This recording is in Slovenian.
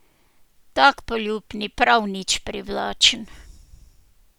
Tak poljub ni prav nič privlačen.